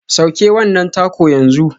Sauke wannan taco yanzu.